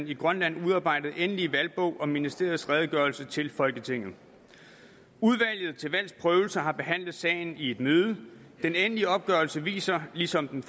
i grønland udarbejdede endelige valgbog og ministeriets redegørelse til folketinget udvalget til valgs prøvelse har behandlet sagen i et møde den endelige opgørelse viser ligesom den